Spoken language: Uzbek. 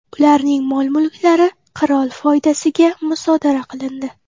Ularning mol-mulklari qirol foydasiga musodara qilindi.